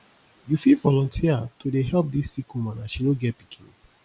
you fit volunteer to dey help dis sick woman as she no get pikin